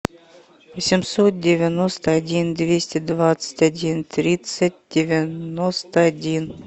семьсот девяносто один двести двадцать один тридцать девяносто один